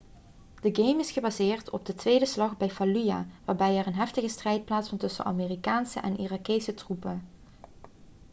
de game is gebaseerd op de tweede slag bij fallujah waarbij er een heftige strijd plaatsvond tussen amerikaanse en irakese troepen